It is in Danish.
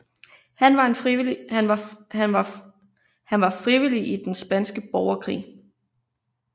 Han var en frivillig i den Spanske Borgerkrig